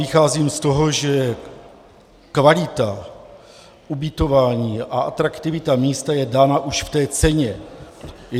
Vycházím z toho, že kvalita ubytování a atraktivita místa je dána už v té ceně.